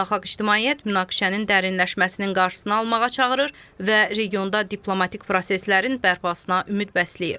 Beynəlxalq ictimaiyyət münaqişənin dərinləşməsinin qarşısını almağa çağırır və regionda diplomatik proseslərin bərpasına ümid bəsləyir.